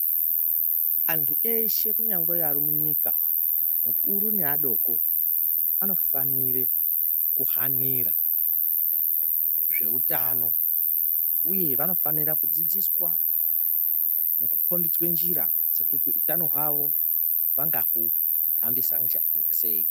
Antu eshe kunyangwe ari munyika akuru neadoko anofanire kuhanira zveutano uye vanofanira kudzidziswa nekukombidze njira dzekuti utano hwawo vangahuhambisanja sei.